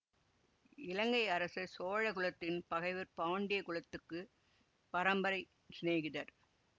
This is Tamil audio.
இலங்கை அரசர் சோழ குலத்தின் பகைவர் பாண்டிய குலத்துக்குப் பரம்பரை சிநேகிதர்